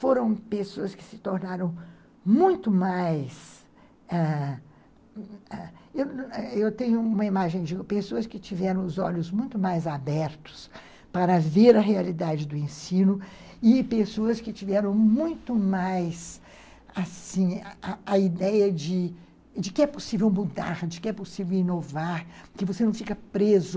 Foram pessoas que se tornaram muito mais, ãh... Eu tenho uma imagem de pessoas que tiveram os olhos muito mais abertos para ver a realidade do ensino e pessoas que tiveram muito mais, assim, a ideia de que é possível mudar, de que é possível inovar, que você não fica preso